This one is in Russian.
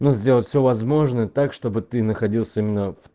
но сделать всё возможное так чтобы ты находился именно